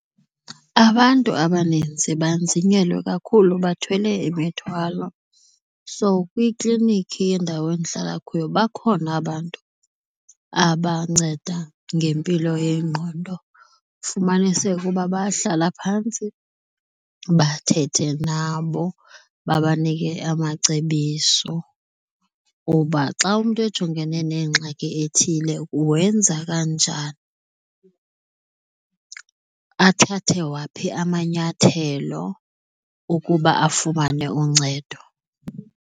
Abantu abaninzi banzinyelwa kakhulu, bathwele imithwalo. So, kwikliniki yendawo endihlala kuyo bakhona abantu abanceda ngempilo yengqondo, fumanise uba bahlala phantsi bathethe nabo babanike amacebiso uba xa umntu ejongene nengxaki ethile wenza kanjani, athathe waphi amanyathelo ukuba afumane uncedo.